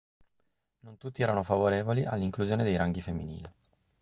non tutti erano favorevoli all'inclusione dei ranghi femminili